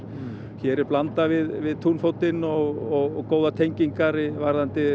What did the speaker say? hér er Blanda við túnfótinn og góðar tengingar varðandi